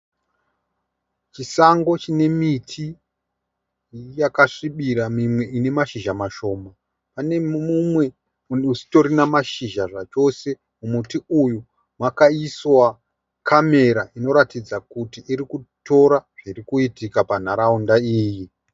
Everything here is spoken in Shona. Chisango chine miti yakasvibira mimwe ine mashizha mashoma. Pane mumwe usitorina mashizha zvachose. Muti uyu wakaiswa(camera) inoratidza kuti irikutora zvirikuitika panharaunda iyi.